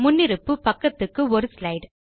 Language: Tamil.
முன்னிருப்பு பக்கத்துக்கு 1 ஸ்லைடு